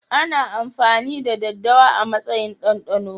Ana amfani da daddawa a matsayin dandano